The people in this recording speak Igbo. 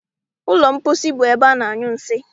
Ụlọ mposi bụ ebe ana- anyụ nsị.